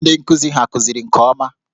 Ndị nkụzi hà kụziri nke ọma?